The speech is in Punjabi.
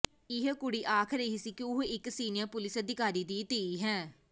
ਇਹ ਕੁੜੀ ਆਖ ਰਹੀ ਸੀ ਕਿ ਉਹ ਇਕ ਸੀਨੀਅਰ ਪੁਲਿਸ ਅਧਿਕਾਰੀ ਦੀ ਧੀ ਹੈ